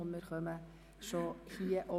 – Das ist nicht der Fall.